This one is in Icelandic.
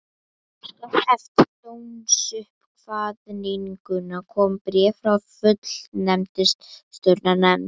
Skömmu eftir dómsuppkvaðninguna kom bréf frá Fullnustumatsnefnd.